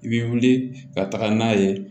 I bɛ wuli ka taga n'a ye